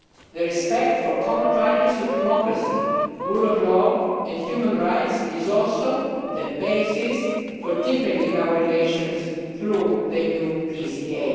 The respect for common values of democracy, the rule of law and human rights is also the basis for deepening our relations through the new PCA.